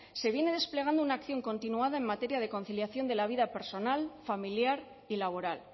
se viene desplegando una acción continuada en materia de conciliación de la vida personal familiar y laboral